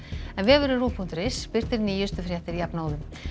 en vefurinn ruv punktur is birtir nýjustu fréttir jafnóðum